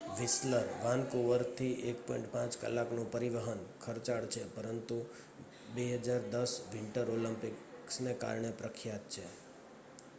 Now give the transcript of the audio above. Whistler વાનકુવરથી 1.5 કલાકનું પરિવહન ખર્ચાળ છે પરંતુ 2010 વિન્ટર ઓલિમ્પ્કિસને કારણે પ્રખ્યાત છે